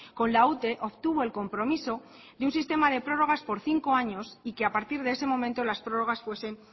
con la ute obtuvo el compromiso de un sistema de prórrogas por cinco años y que a partir de ese momento las prórrogas fuesen